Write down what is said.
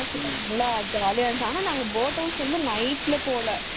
Boat house நல்லா ஜாலியா இருந்துச்சு ஆனா நாங்க boat house வந்து night ல போகல